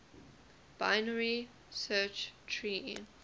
binary search tree